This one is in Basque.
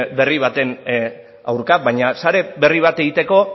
berri baten aurka baina sare berri bat egiteko